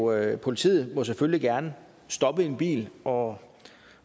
og politiet må selvfølgelig gerne stoppe en bil og